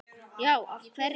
Já, af hverju?